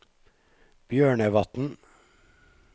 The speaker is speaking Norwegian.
Bjørnevatn